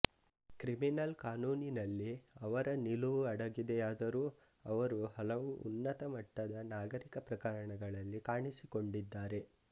criminal ಕಾನೂನಿನಲ್ಲಿ ಅವರ ನಿಲುವು ಅಡಗಿದೆಯಾದರೂ ಅವರು ಹಲವು ಉನ್ನತಮಟ್ಟದ ನಾಗರಿಕ ಪ್ರಕರಣಗಳಲ್ಲಿ ಕಾಣಿಸಿಕೊಂಡಿದ್ದಾರೆ